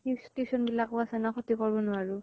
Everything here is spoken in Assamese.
তিচ tuition বিলাকে আছে ন ক্ষ্তি কৰিব নোৱাৰো।